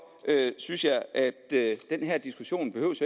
synes jeg at at den her diskussion